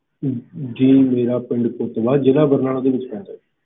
ਜੀ ਮੇਰਾ ਪਿੰਡ ਕੁਤਵਾ ਜ਼ਿਲ੍ਹਾ ਬਰਨਾਲਾ ਦੇ ਵਿੱਚ ਹੈ sir